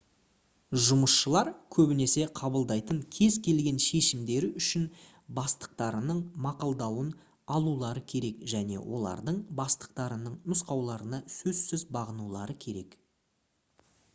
жұмысшылар көбінесе қабылдайтын кез келген шешімдері үшін бастықтарының мақұлдауын алулары керек және олардың бастықтарының нұсқауларына сөзсіз бағынулары керек